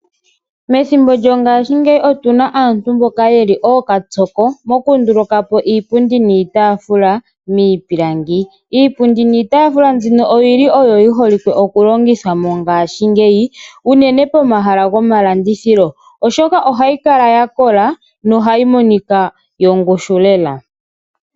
Methimbo lyongashingeyi otuna aantu mboka yeli ookapyoko moku nduluka po iipundi niitafula miipilangi. Iipundi niitafula mbyino oyili oyo yi holike oku longithwa mongashingeyi uunene pomahala gomalandithilo ,oshoka ohayi kala ya kola nohayi monika yongushu lela.